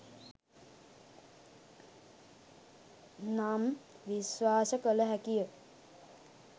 නම් විශ්වාස කළ හැකි ය